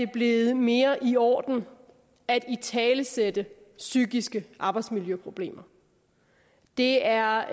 blevet mere i orden at italesætte psykiske arbejdsmiljøproblemer det er